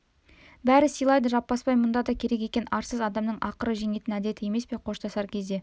бәрі сыйлайды жаппасбай мұнда да керек екен арсыз адамның ақыры жеңетін әдеті емес пе қоштасар кезде